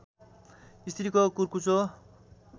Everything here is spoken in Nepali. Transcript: स्त्रीको कुर्कुच्चो